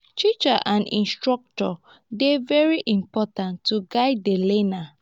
teachers and instructors dey very important to guide di learner